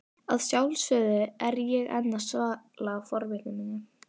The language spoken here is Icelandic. Að sjálfsögðu er ég enn að svala forvitni minni.